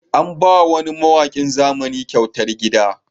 An ba wa wani mawaƙin zamani kyautar gida